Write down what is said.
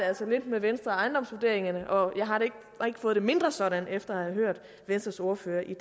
altså lidt med venstre og ejendomsvurderingerne og jeg har ikke fået det mindre sådan efter at have hørt venstres ordfører i